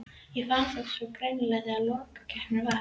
Ég fann það svo greinilega þegar lokakeppnin var.